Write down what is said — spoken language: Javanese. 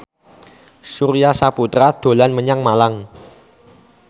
Surya Saputra dolan menyang Malang